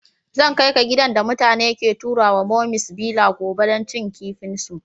Zan kai ka gidan da mutane ke taruwa mummy's villa gobe dan cin kifin su.